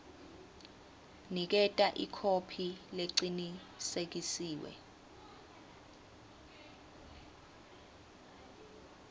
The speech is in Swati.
niketa ikhophi lecinisekisiwe